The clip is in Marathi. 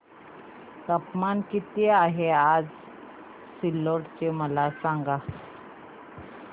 तापमान किती आहे आज सिल्लोड चे मला सांगा